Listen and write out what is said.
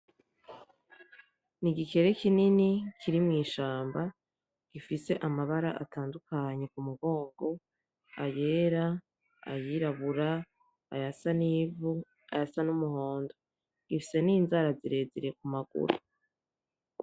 N'igikere kinini kiri mw'ishamba gifise amabara atandukanye ku mugongo, ayera, ayirabura, ayasa n'ivu, ayasa n'umuhondo. Gifise n'inzara zirezire ku maguru.